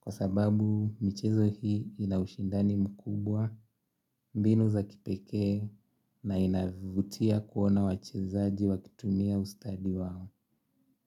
kwa sababu michezo hii ina ushindani mkubwa mbinu za kipekee na inavutia kuona wachezaji wakitumia ustadi wao.